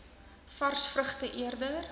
vars vrugte eerder